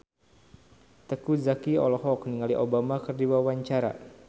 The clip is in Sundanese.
Teuku Zacky olohok ningali Obama keur diwawancara